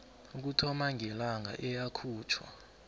ukuthoma ngelanga eyakhutjhwa